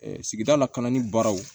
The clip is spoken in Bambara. sigida lakanani baraw